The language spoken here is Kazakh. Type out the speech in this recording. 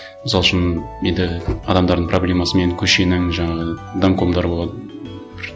мысал үшін енді адамдардың проблемасымен көшенің жаңағы домкомдары болады бір